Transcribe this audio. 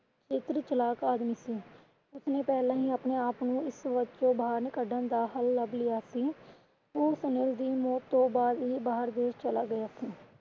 ਚਤੁਰ ਚਲਾਕ ਆਦਮੀ ਸੀ। ਉਸਨੇ ਪਹਿਲਾਂ ਹੀ ਆਪਣੇ ਆਪ ਨੂੰ ਇਸ ਵਿੱਚੋ ਬਾਹਰ ਕੱਢਣ ਦਾ ਹੱਲ ਲੱਬ ਲਿਆ ਸੀ। ਉਹ ਦੀ ਮੋਤ ਤੋਂ ਬਾਅਦ ਹੀ ਬਾਹਰ ਦੇਸ਼ ਚਲਾ ਗਿਆ ਆਪਣੇ